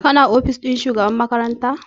Ka na ofis ɗin shugaban makaranta ne?